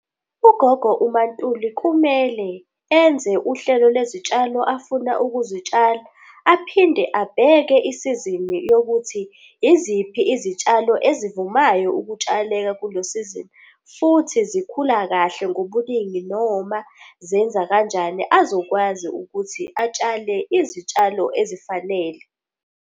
Ugogo umaNtuli kumele enze uhlelo lwezitshalo afuna ukuzitshala. Aphinde abheke isizini yokuthi iziphi izitshalo ezivumayo ukutshaleka kulo sizini futhi zikhula kahle ngobuningi noma zenza kanjani, azokwazi ukuthi atshale izitshalo ezifanele.